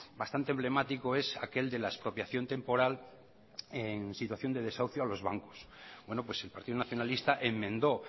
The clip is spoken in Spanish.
bastante emblemático es aquel de la expropiación temporal en situación de desahucio a los bancos bueno pues el partido nacionalista enmendó